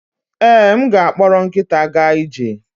Ee, m ga-akpọrọ nkịta gaa ije.